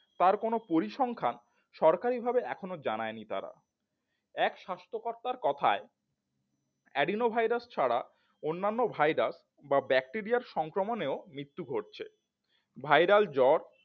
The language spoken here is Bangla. তার কোন পরিসংখ্যান সরকারিভাবে এখনো জানাইনি তারা এক স্বাস্থ্যকর্তার কথায় adenoviruses ছাড়া অন্যান্য virus বা ব্যাকটেরিয়া সংক্রমনেও মৃত্যু ঘটছে viral জ্বর